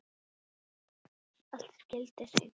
Allt skyldi hreint.